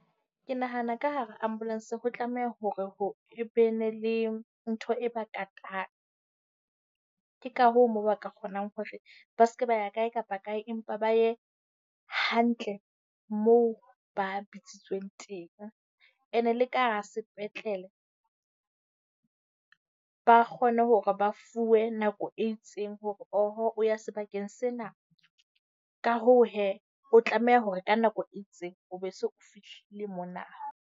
Ke nahana ka hara ambulance ho tlameha hore ho be ne le ntho e ba katang. Ke ka hoo mo ba ka kgonang hore ba se ke ba ya kae kapa kae empa ba ye hantle moo ba bitsitsweng teng. Ene le ka hara sepetlele ba kgone hore ba fuwe nako e itseng hore o ya sebakeng sena. Ka hoo hee, o tlameha hore ka nako e itseng o be o se o fihlile mona.